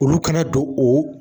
Olu kana don o